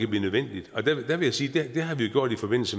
blive nødvendigt der vil jeg sige at det har vi gjort